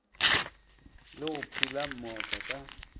le go phula mooka ka